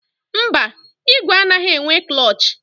Mba, ìgwè anaghị enwe klọọchị.